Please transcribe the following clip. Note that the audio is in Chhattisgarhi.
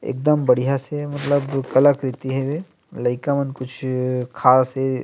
एकदम बढ़िया से मतलब कलाकृति हवे लइका मन कुछ खास हे।